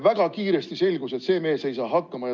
Väga kiiresti selgus, et see mees ei saa hakkama.